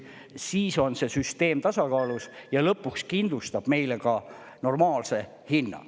Siis on see süsteem tasakaalus ja lõpuks kindlustab meile ka normaalse hinna.